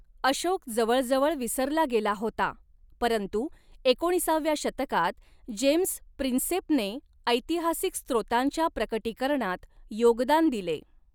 अशोक जवळजवळ विसरला गेला होता, परंतु एकोणीसाव्या शतकात, जेम्स प्रिन्सेपने ऐतिहासिक स्त्रोतांच्या प्रकटीकरणात योगदान दिले.